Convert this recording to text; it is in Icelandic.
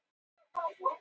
Sá stúlkan eitthvað?